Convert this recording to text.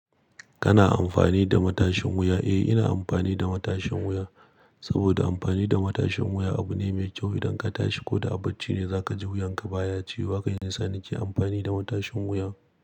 Kana amfani da matashin wuya? Eh, ina amfani da matashin wuya saboda amfani da matashin wuya abu ne mai kyau idan ka tashi ko da a bacci ne za ka ji wuyan ka baya ci. Wa kai nisan nike amfani da matashin wuya.